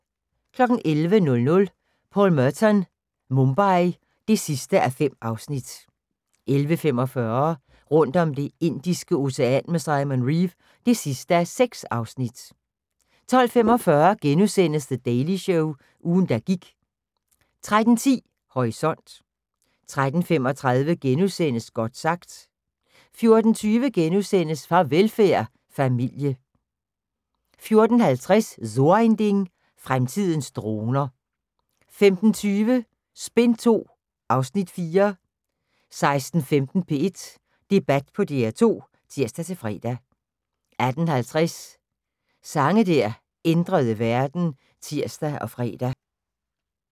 11:00: Paul Merton – Mumbai (5:5) 11:45: Rundt om Det indiske Ocean med Simon Reeve (6:6) 12:45: The Daily Show – ugen der gik * 13:10: Horisont 13:35: Godt sagt * 14:20: Farvelfærd: Familie * 14:50: So ein Ding: Fremtidens droner 15:20: Spin II (Afs. 4) 16:15: P1 Debat på DR2 (tir-fre) 18:50: Sange der ændrede verden (tir og fre)